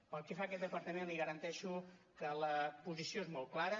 pel que fa a aquest departament li garanteixo que la posició és molt clara